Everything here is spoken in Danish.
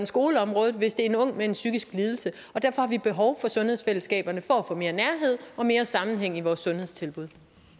skoleområdet hvis det er en ung med en psykisk lidelse derfor har vi behov for sundhedsfællesskaberne for at få mere nærhed og mere sammenhæng i vores sundhedstilbud